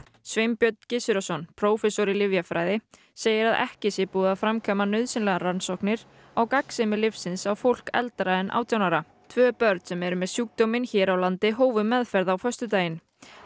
Sveinbjörn Gizurarson prófessor í lyfjafræði segir að ekki sé búið að framkvæma nauðsynlegar rannsóknir á gagnsemi lyfsins á fólki eldra en átján ára tvö börn sem eru með sjúkdóminn hér á landi hófu meðferð á föstudaginn